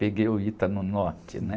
Peguei o Ita no norte, né?